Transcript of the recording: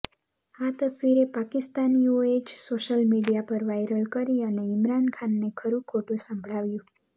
આ તસવીરે પાકિસ્તાનીઓએ જ સોશિયલ મીડિયા પર વાયરલ કરી અને ઇમરાન ખાનને ખરું ખોટું સંભળાવ્યું